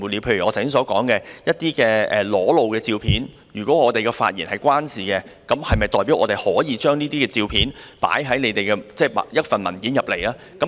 例如我剛才所說，一些裸露的照片，若與我們的發言有關，是否代表我們就可以放在提交立法會的文件裏？